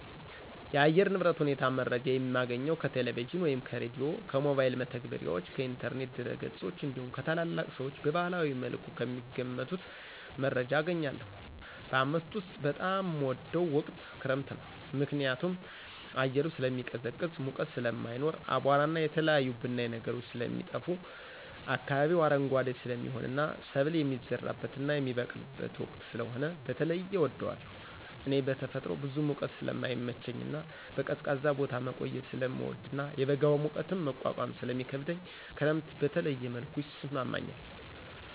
የአየር ንብረት ሁኔታ መረጃ የማገኘው ከቴሌቪዥን ወይም ከሬዲዮ፣ ከሞባይል መተግበሪያዎች፣ ከኢንተርኔት ድረገጾች እንዲሁም ከታላላቅ ሰዎች በባህላዊ መልኩ ከሚገምቱት መረጃ አገኛለሁ። በዓመት ውስጥ በጣም ምወደው ወቅት ክረምትን ነው። ምክንያቱም አየሩ ስለሚቀዘቅዝ ሙቀት ስለማይኖር፣ አቧራና የተለያዩ ብናኝ ነገሮች ስለሚጠፋ፣ አካባቢው አረንጓዴ ስለሚሆንና ሰብል የሚዘራበትና የሚበቅልበት ወቅት ስለሆነ በተለየ እወደዋለሁ። እኔ በተፈጥሮ ብዙ ሙቀት ስለማይመቸኝና በቀዝቃዛ ቦታ መቆየት ስለምወድና የበጋ ሙቀትን መቋቋም ስለሚከብደኝ ክረምት በተለየ መልኩ ይስማማኛል።